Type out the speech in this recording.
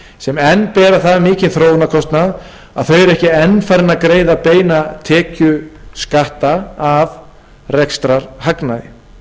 sem enn bera það mikinn þróunarkostnað að þau eru ekki enn farin að greiða beina tekjuskatta af rekstrarhagnaði